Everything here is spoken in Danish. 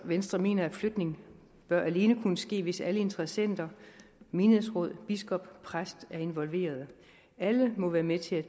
venstre mener at flytning alene bør ske hvis alle interessenter menighedsråd biskop og præst er involveret alle må være med til at